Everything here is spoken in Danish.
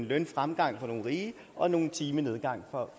lønfremgangen for nogle rige og nogle timers nedgang for